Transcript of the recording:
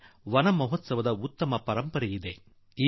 ೂಡಾ ವನ ಮಹೋತ್ಸವಕ್ಕೆ ಒಂದು ದೊಡ್ಡ ಉಜ್ವಲ ಪರಂಪರೆ ಇದೆ